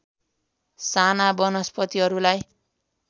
साना वनस्पतिहरूलाई